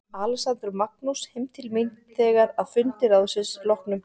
Alexander og Magnús heim til mín þegar að fundi ráðsins loknum.